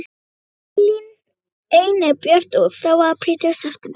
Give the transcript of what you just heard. Ein er björt og er frá apríl til september.